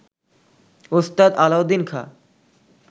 Ustad Alauddin Khan